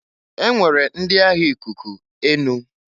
E nwere ndi agha ikuku/enu.